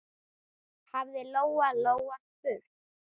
hafði Lóa-Lóa spurt.